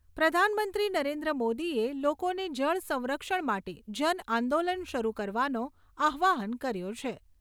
પ્રધાનમંત્રી નરેન્દ્ર મોદીએ લોકોને જળ સંરક્ષણ માટે જન આંદોલન શરૂ કરવાનો આહ્વાન કર્યો છે.